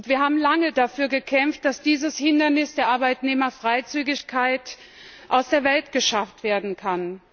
Wir haben lange dafür gekämpft, dass dieses Hindernis der Arbeitnehmerfreizügigkeit aus der Welt geschafft werden kann.